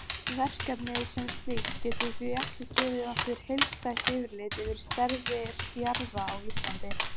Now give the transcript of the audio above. Verkefnið sem slíkt getur því ekki gefið okkur heildstætt yfirlit yfir stærðir jarða á Íslandi.